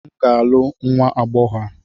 M ga-alụ nwa agbọhọ a